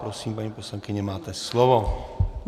Prosím, paní poslankyně, máte slovo.